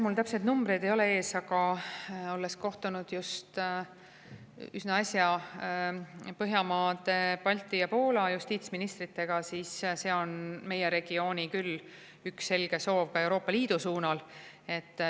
Mul täpseid numbreid ei ole ees, aga olles kohtunud üsna äsja teiste Baltimaade, Poola ja Põhjamaade justiitsministritega, et see on meie regiooni selge soov Euroopa Liidu suunal.